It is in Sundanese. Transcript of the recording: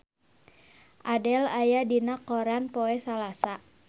Adele aya dina koran poe Salasa